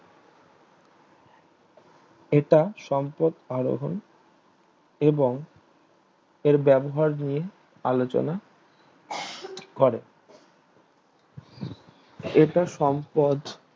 এটা সম্পদ আরোহন এবং এর ব্যবহার নিয়ে আলোচনা করে এটা সম্পদ